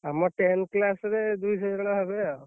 ଆମ, tenth class ରେ ଦୁଇଶହ ଜଣ ହେବେ ଆଉ।